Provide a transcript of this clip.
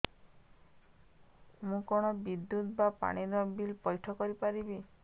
ମୁ କଣ ବିଦ୍ୟୁତ ବା ପାଣି ର ବିଲ ପଇଠ କରି ପାରିବି